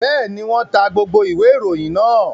Bẹ́ẹ̀ ni, wọ́n ta gbogbo ìwé-ìròyìn náà.